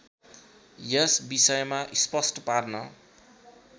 यस विषयमा स्पष्ट पार्न